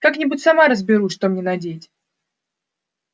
как-нибудь сама разберусь что мне надеть